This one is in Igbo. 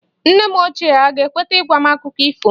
Nne m ochie aga-ekweta ịgwa m Akụkọ ifo?